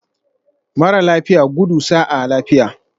Mara lafiya, gudu sa'a lafiya